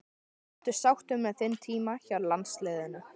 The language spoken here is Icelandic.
Ertu sáttur með þinn tíma hjá landsliðinu?